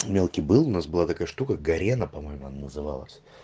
мелкий был у нас была такая штука горена по моему она называлась